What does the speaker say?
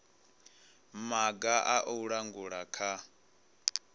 maga a u langula kha